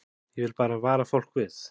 Ég vil bara vara fólk við.